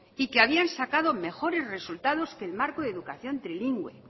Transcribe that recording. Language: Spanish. y que habían sacado mejores resultados que el marco educación trilingüe